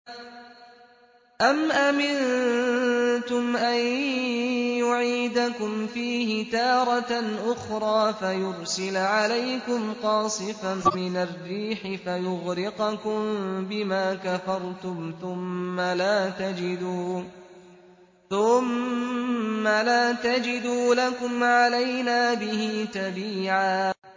أَمْ أَمِنتُمْ أَن يُعِيدَكُمْ فِيهِ تَارَةً أُخْرَىٰ فَيُرْسِلَ عَلَيْكُمْ قَاصِفًا مِّنَ الرِّيحِ فَيُغْرِقَكُم بِمَا كَفَرْتُمْ ۙ ثُمَّ لَا تَجِدُوا لَكُمْ عَلَيْنَا بِهِ تَبِيعًا